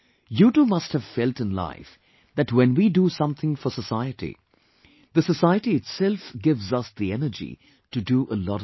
You too must have felt in life that when we do something for society, the society itself gives us energy to do a lot of things